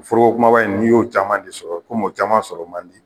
Forogo kumaba in n'i y'o caman de sɔrɔ o caman sɔrɔ man di.